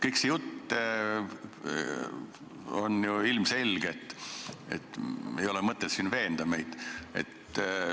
Kogu see jutt on ju ilmselge, ei ole mõtet meid siin veenda.